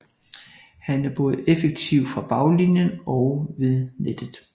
Han er både effektiv fra baglinjen og ved nettet